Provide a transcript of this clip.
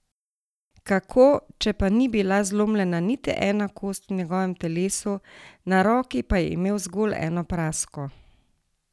Kako, če pa ni bila zlomljena niti ena kost v njegovem telesu, na roki pa je imel zgolj eno prasko?